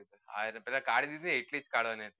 પેલા card હતા એકવીસ કડવાણી હતી